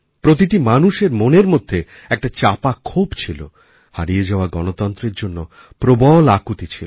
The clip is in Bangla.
প্রতিটি মানুষের মনের মধ্যে একটা চাপা ক্ষোভ ছিল হারিয়ে যাওয়াগণতন্ত্রের জন্য প্রবল আকুতি ছিল